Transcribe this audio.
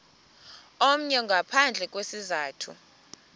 omnye ngaphandle kwesizathu